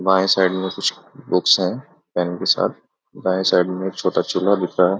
बाएं साइड में कुछ बुक्स है पेन के साथ दाएं साइड में एक छोटा चूल्हा दिख रहा है।